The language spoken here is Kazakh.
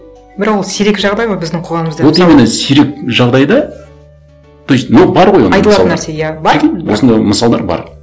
бірақ ол сирек жағдай ғой біздің қоғамымызда вот именно сирек жағдай да то есть но бар ғой айтылатын нәрсе иә бар осындай мысалдар бар